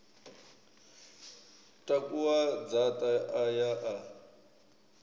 takuwa dzaṱa a ya a